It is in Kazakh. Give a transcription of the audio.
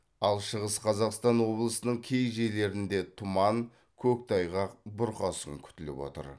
ал шығыс қазақстан облысының кей жерлерінде тұман көктайғақ бұрқасын күтіліп отыр